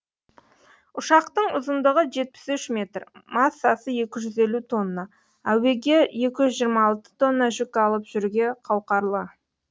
ұшақтың ұзындығы жетпіс үш метр массасы екі жүз елу тонна әуеге екі жүз жиырма алты тонна жүк алып жүруге қауқарлы